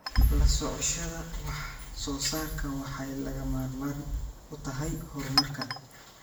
La socoshada wax soo saarku waxay lagama maarmaan u tahay horumarka.